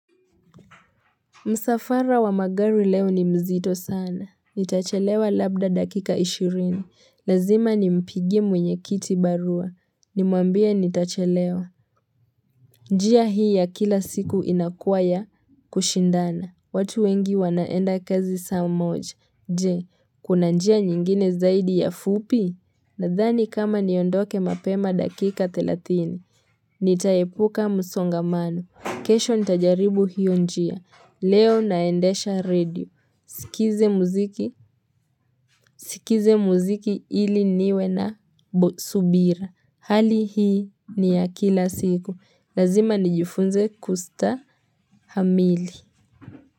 Msafara wa magari leo ni mzito sana Nitachelewa labda dakika ishirini Lazima nimpigie mwenye kiti barua Nimwambia nitachelewa njia hii ya kila siku inakuwa ya kushindana watu wengi wanaenda kazi saa moja je, kuna njia nyingine zaidi ya fupi? Nadhani kama niondoke mapema dakika thelathini Nitaepuka msongamano kesho nitajaribu hiyo njia Leo naendesha redio, sikize muziki ili niwe na subira. Hali hii ni ya kila siku, lazima nijifunze kustahamili.